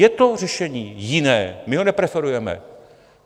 Je to řešení jiné, my ho nepreferujeme.